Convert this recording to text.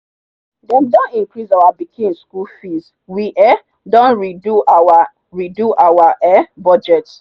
dem don increase our pikin school fees we um don re-do our re-do our um budget